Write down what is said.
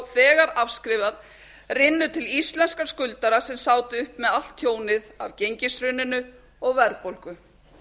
þegar afskrifað rynnu til íslenskra skuldara sem sátu uppi með allt tjónið af gengishruninu og verðbólgu